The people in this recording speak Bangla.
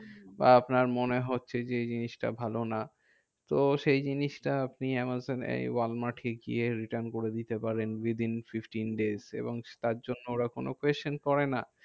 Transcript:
বা আপনার মনে হচ্ছে যে এই জিনিসটা ভালো না। তো সেই জিনিসটা আপনি আমাজোনে ওয়ালমার্টে গিয়ে return করে দিনে পারেন with in fifteen days. এবং তার জন্য ওরা কোনো pressure করে না।